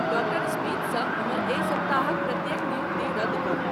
doctor Smith स हमर एहि सप्ताह क प्रत्येक नियुक्ति रद्द करू